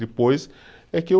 Depois é que o